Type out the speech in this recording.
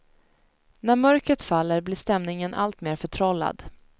När mörkret faller blir stämningen alltmer förtrollad.